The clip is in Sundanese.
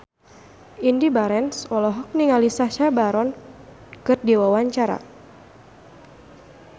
Indy Barens olohok ningali Sacha Baron Cohen keur diwawancara